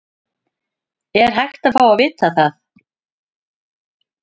Er hægt að fá að vita það?